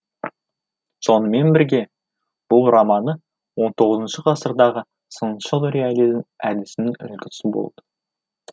сонымен бірге бұл романы он тоғызыншы ғасырдағы сыншыл реализм әдісінің үлгісі болды